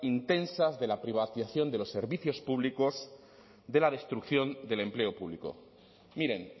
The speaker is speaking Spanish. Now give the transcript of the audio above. intensas de la privatización de los servicios públicos de la destrucción del empleo público miren